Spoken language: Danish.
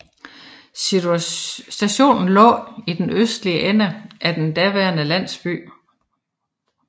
Stationen lå i den østlige ende af den daværende landsby